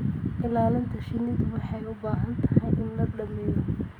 Ilaalinta shinnidu waxay u baahan tahay in la dhammeeyo.